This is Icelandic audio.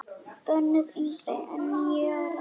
Bönnuð yngri en níu ára.